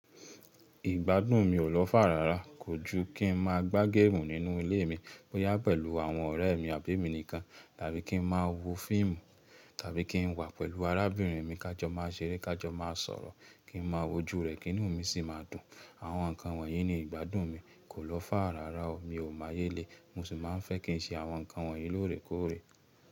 Ìgbádùn mi ò lọ̀fà rárá kojú kí n máa gbà geemu nínú ilé mi bọ́ yá pẹ̀lú àwọn ọ̀rẹ́ mi àbí èmi nìkan, tàbí kí n máa wo fíìmù, tàbí kí n wà pẹ̀lú arábìnrin mi ká jọ máa ṣeré, ká jọ máa sọ̀rọ̀, kí n máa wojú rẹ̀ kí inú mi sì máa dùn. Àwọn ǹkan wọ̀nyí ni ìgbádùn mi kò lọ́fà rárá o, mi ò máa yélè, mo sì máa ń fẹ́ kí n ṣe àwọn ǹkan wọ̀nyí lóòrèkóòrè.